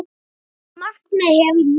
Þetta markmið hefur náðst.